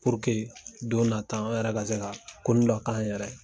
don na taa an yɛrɛ ka se ka koni dɔ k'an yɛrɛ ye.